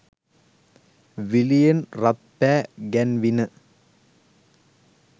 විළියෙන් රත් පෑ ගැන්විණ.